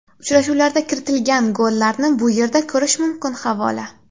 Uchrashuvlarda kiritilgan gollarni bu yerda ko‘rish mumkin havola .